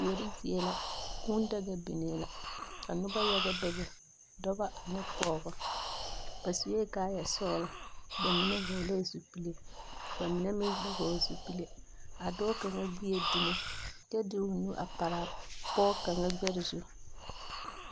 Kuori zie la, kũũ daga biŋee la, ka noba yaga bebe, dɔbɔ ane pɔgbɔ. Ba sue kaaya sɔglɔ. Ba mine vɔglɛɛ zupile, ba mine meŋ ba vɔgle zupile. A dɔɔ kaŋa gbie dumo, kyɛ de o nu a paraa pɔge kaŋa gbɛre zu.